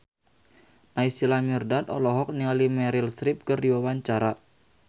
Naysila Mirdad olohok ningali Meryl Streep keur diwawancara